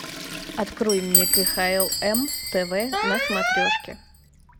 открой мне кхлм тв на смотрешке